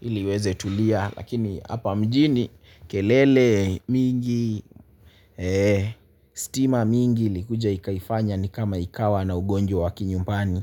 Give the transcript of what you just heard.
Ili iweze tulia lakini hapa mjini kelele mingi eeh stima mingi ilikuja ikaifanya ni kama ikawa na ugonjwa wa kinyumbani.